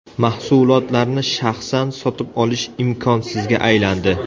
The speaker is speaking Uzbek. Mahsulotlarni shaxsan sotib olish imkonsizga aylandi.